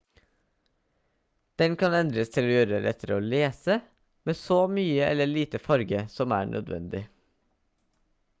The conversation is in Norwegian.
den kan endres til å gjøre det lettere å lese med så mye eller lite farge som er nødvendig